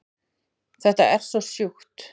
Þetta er svo sjúkt